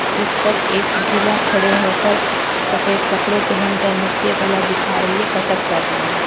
उस पर एक महिला खड़े हो कर सफ़ेद कपडे पहन कर नृत्य कला देखा रही है कत्थक कर रही है।